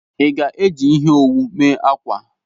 Ị ga-eji ihe owu mee akwa?